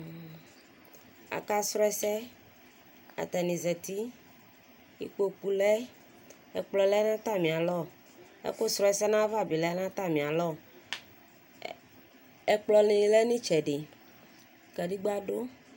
Akpa srɔ ɛsɛ, atanɩ zati, ikpoku lɛ, ɛkplɔ lɛ n'atamialɔ, ɛkʋ srɔ ɛsɛ n'ayava bɩ lɛ n'atamialɔ, ɛkplɔnɩ lɛ n'ɩtsɛdɩ, kadegba ɖʋ